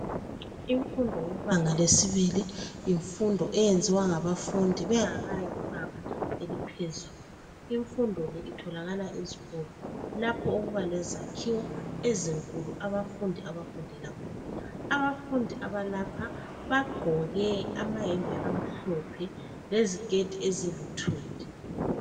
Imfundo yebanga lesibili yimfundo eyenziwa ngabafundi bengakayi kubanga eliphezulu. Imfundo le itholakala ezikolo lapho okuba lezakhiwo ezinkulu abafundi abafundela khona. Abafundi abalapha bagqoke amayembe amhlophe leziketi eziluthuli.